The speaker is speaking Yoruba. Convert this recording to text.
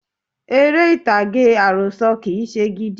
Eré ìtàgé àròsọ̀ kì í se gidi